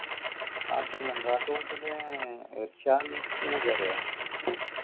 കാട്ടുകുളം കാട്ടുകുളത്തിത്തെ ഏർ ഇർഷാൽ ഒക്കെ അറിയോ